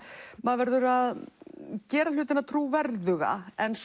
maður verður að gera hlutina trúverðuga en